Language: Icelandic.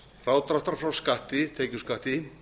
frádráttar frá skatti tekjuskatti